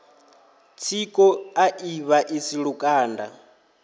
tsiko a i vhaisi lukanda